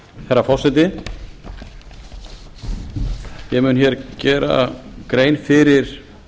herra forseti ég mun hér gera grein fyrir